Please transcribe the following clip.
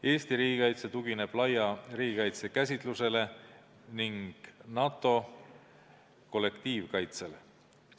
Eesti riigikaitse tugineb laia riigikaitse käsitlusele ning NATO kollektiivkaitsele.